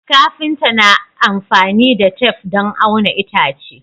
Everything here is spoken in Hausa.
Kafinta na amfani da tef don auna itace